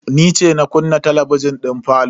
Ni ce na kunna talabijin din falo.